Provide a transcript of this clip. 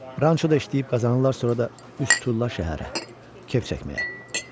Ranço da işləyib qazanırlar, sonra da üz tuturlar şəhərə, kef çəkməyə.